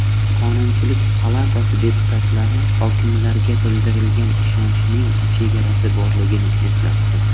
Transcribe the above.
Qonunchilik palatasi deputatlari hokimlarga bildirilgan ishonchning chegarasi borligini eslatdi .